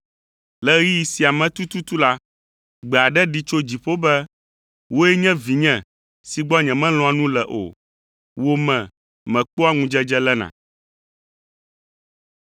Le ɣeyiɣi sia me tututu la, gbe aɖe ɖi tso dziƒo be, “Wòe nye vinye si gbɔ nyemelɔ̃a nu le o, wò me mekpɔa ŋudzedze lena.”